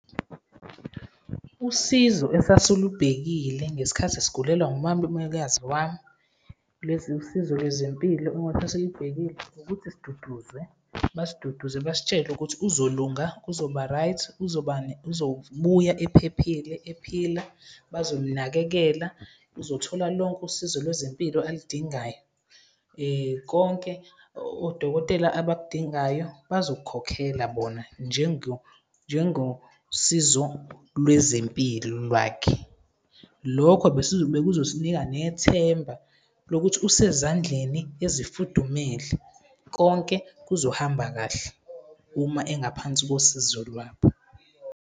Usizo esasilubhekile ngesikhathi sigulelwa umalumekazi wami, usizo lwezempilo osasilubhekile ukuthi siduduzwe, basiduduze basitshele ukuthi uzolunga, kuzoba-right, uzobuya ephephile, ephila, bazomnakekela, uzothola lonke usizo lwezempilo aludingayo. Konke odokotela abakudingayo bazokukhokhela bona njengosizo lwezempilo lwakhe. Lokho bekuzosinika nethemba lokuthi usezandleni ezifudumele, konke kuzohamba kahle uma engaphansi kosizo lwabo.